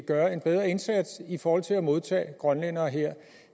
gøre en bedre indsats i forhold til at modtage grønlændere her